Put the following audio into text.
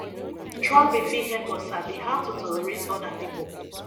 traveling fit help us sabi how to tolerate oda pipo